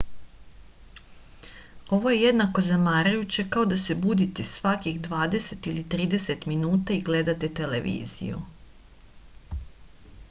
ovo je jednako zamarajuće kao da se budite svakih dvadeset ili trideset minuta i gledate televiziju